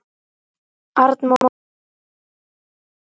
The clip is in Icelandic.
Arnmóður, hvaða vikudagur er í dag?